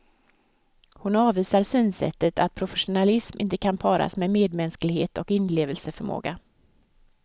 Hon avvisar synsättet att professionalism inte kan paras med medmänsklighet och inlevelseförmåga.